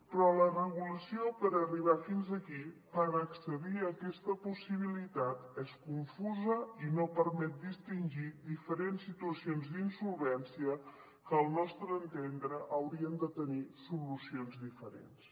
però la regulació per arribar fins aquí per accedir a aquesta possibilitat és confusa i no permet distingir diferents situacions d’insolvència que al nostre entendre haurien de tenir solucions diferents